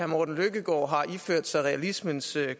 morten løkkegaard har iført sig realismens